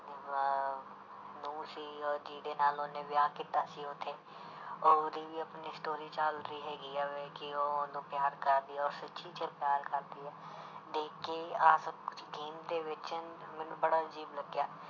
ਨਹੁੰ ਸੀਗੀ ਉਹ ਜਿਹਦੇ ਨਾਲ ਉਹਨੇ ਵਿਆਹ ਕੀਤਾ ਸੀ ਉੱਥੇ ਉਹਦੀ ਵੀ ਆਪਣੀ story ਚੱਲ ਰਹੀ ਹੈਗੀ ਆ ਵੇ ਕਿ ਉਹ ਉਹਨੂੰ ਪਿਆਰ ਕਰ ਰਹੀ ਉਹ ਸੱਚੀ 'ਚ ਪਿਆਰ ਕਰਦੀ ਹੈ ਦੇਖ ਕੇ ਆਹ ਸਭ ਕੁਛ game ਦੇ ਵਿੱਚ ਮੈਨੂੂੰ ਬੜਾ ਅਜ਼ੀਬ ਲੱਗਿਆ।